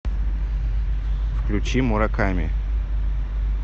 включи мураками